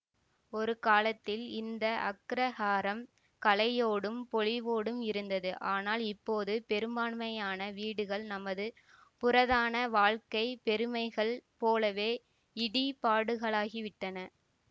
ஒரு காலத்தில் இந்த அக்ரஹாரம் களையோடும் பொலிவோடும் இருந்தது ஆனால் இப்போது பெரும்பான்மையான வீடுகள் நமது புரதான வாழ்க்கை பெருமைகள் போலவே இடிபாடுகளாகிவிட்டன